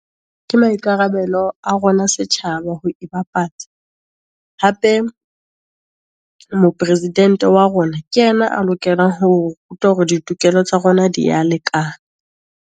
Ke maikarabelo a rona setjhaba ho ibapatsa, hape moporesidente wa rona, ke yena a lokelang hore ruta, hore ditokelo tsa rona di ya lekana.